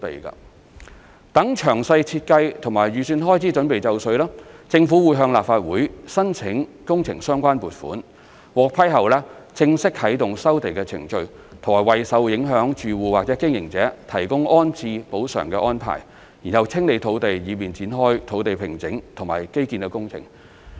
待詳細設計及預算開支準備就緒，政府會向立法會申請工程相關撥款，獲批後正式啟動收地程序和為受影響住戶或經營者提供安置補償安排，然後清理土地以便展開土地平整和基建工程。